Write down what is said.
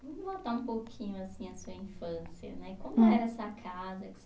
Vamos voltar um pouquinho assim a sua infância, né. Como era essa casa que